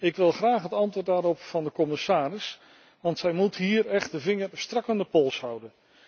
Ik wil graag het antwoord daarop van de commissaris, want zij moet hier echt de vinger strak aan de pols houden.